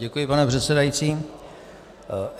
Děkuji, pane předsedající.